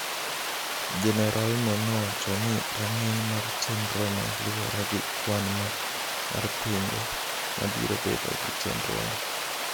Jenerolno nowacho ni rang’iny mar chenrono luwore gi kwan mar pinje ma biro bedo e chenrono.